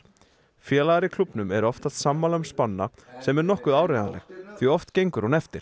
félagar í klúbbnum eru oftast sammála um spána sem er nokkuð áreiðanleg því oft gengur hún eftir